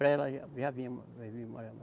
Para ela já vinha, já vim morar mais